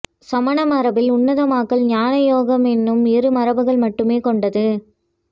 சமண மரபில் உன்னதமாக்கல் ஞானம் யோகம் என்னும் இரு மரபுகள் மட்டுமே கொண்டது